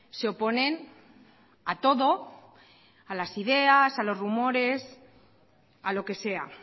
se oponen a todo a las ideas a los rumores a lo que sea